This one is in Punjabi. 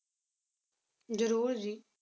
ਜਰੂਰ ਜੀ